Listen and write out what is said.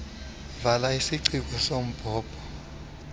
vala isiciko sombhobho